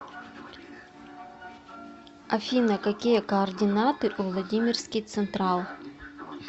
афина какие координаты у владимирский централ